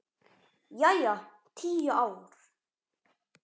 Jæja, tíu ár.